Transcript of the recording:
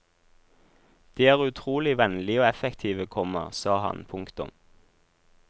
De er utrolig vennlige og effektive, komma sa han. punktum